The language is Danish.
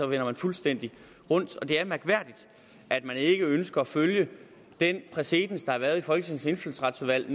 vender man fuldstændig rundt og det er mærkværdigt at man ikke ønsker at følge den præcedens der har været i folketingets indfødsretsudvalg